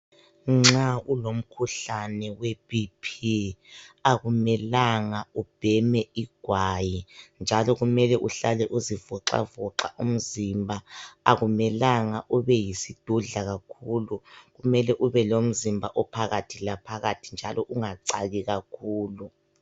Nxa ulomkhuhlane webhiphi akumelanga ubheme ugwayi , njalo kumele uhlale uzivoxavoxa umzimba . Akumelanga ube yisidudla kakhulu mele ube lomzimba ophakathilaphakathi njalo ungacaki kakhulu.